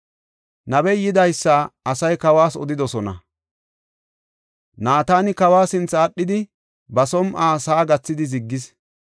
Nabey yidaysa asay kawas odidosona. Naatani kawa sinthe aadhidi, ba som7uwa sa7a gathidi ziggis.